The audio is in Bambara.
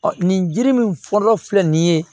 nin jiri min fɔlɔ filɛ nin ye